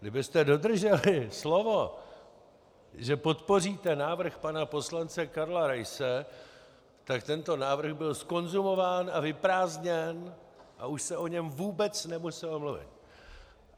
Kdybyste dodrželi slovo, že podpoříte návrh pana poslance Karla Raise, tak tento návrh byl zkonzumován a vyprázdněn a už se o něm vůbec nemuselo mluvit.